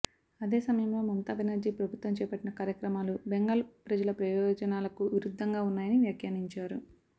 అదే సమయంలో మమతా బెనర్జీ ప్రభుత్వం చేపట్టిన కార్యక్రమాలు బెంగాల్ ప్రజల ప్రయోజనాలకు విరుద్ధంగా ఉన్నాయని వ్యాఖ్యానించారు